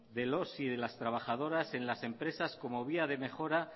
de los y de las trabajadoras en las empresas como vía de mejora